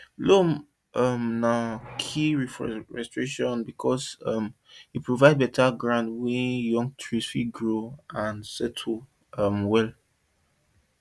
loam um na key for reforestation work because um e provide better ground wey young trees fit grow and settle um well